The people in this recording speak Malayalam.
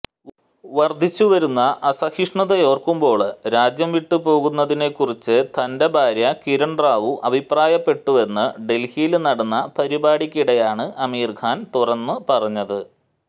വര്ധിച്ചുവരുന്ന അസഹിഷ്ണുതയോര്ക്കുമ്പോള് രാജ്യം വിട്ടുപോകുന്നതിനെക്കുറിച്ച് തന്െറ ഭാര്യ കിരണ് റാവു അഭിപ്രായപ്പെട്ടുവെന്ന് ഡല്ഹിയില് നടന്ന പരിപാടിക്കിടെയാണ് ആമിര് ഖാന് തുറന്നുപറഞ്ഞത്